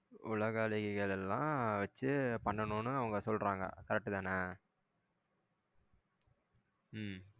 உலக அழகிகள் எல்லா வச்சி பண்ணனும் அவங்க சொல்றாங்க correct தான உம்